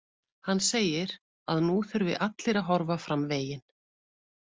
Hann segir að nú þurfi allir að horfa fram veginn.